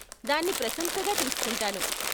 దాన్ని ప్రశంసగా తీస్కుంటాను.